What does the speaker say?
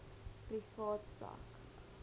privaat sak